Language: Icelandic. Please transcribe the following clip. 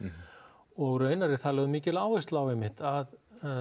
og raunar er þar lögð mikil áhersla á einmitt að